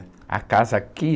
A casa aqui?